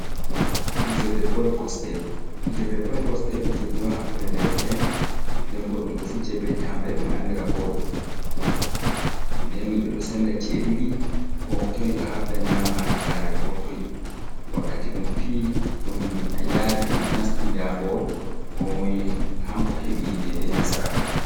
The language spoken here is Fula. Fijirde bol kosɗe, fijirde bol kosɗe fijirde on hakkunde dereke'en dembo ɗum ɗo fije be tamre ɗum andira bol, nden ɓeɗo senda ci'e ɗiɗi, ko toi ɗo habda nyama sare kotoi wakkati ɗum fi ɗum yari ɗum nasti ndaɓowol komoyi hanko heɓi dedei nasaraku.